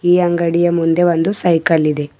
ಈ ಅಂಗಡಿಯ ಮುಂದೆ ಒಂದು ಸೈಕಲ್ ಇದೆ.